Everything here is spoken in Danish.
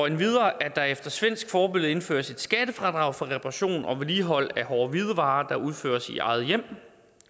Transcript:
endvidere at der efter svensk forbillede indføres et skattefradrag for reparation og vedligehold af hårde hvidevarer der udføres i eget hjem